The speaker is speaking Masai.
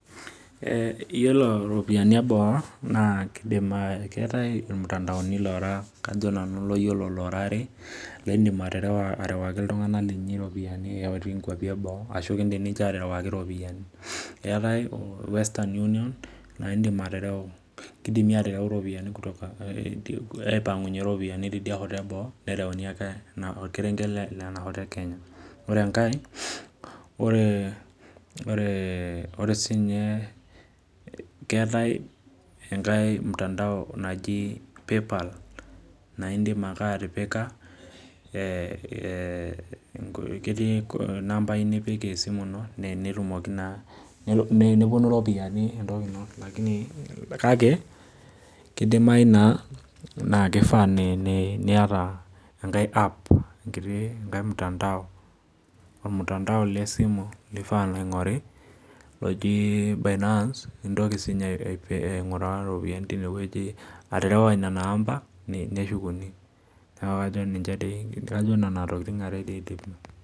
Iyilo ropiyani eboo keetae irmtandauni lora kajo nanu layiolo ora are laidim aterea arewaki ltunganak linyi ropiyani itii nkwapi eboo arashu kirewakini eetae western union na kidimi atereu ropiyani kutoka aipangunye ropiyani tonkwapi eboo orkerenket le kenya ore enkae ore sininye keetae enkae mtaandao naji paypal e ketii nambai nipik esimu ino na eneponu ropiyani kakebkidimayu na kifaa niata enkiti app enkiti mtandao lesimu laingori loji binance aterewa nona amba neshukuni najo nonatokitin are na nidim.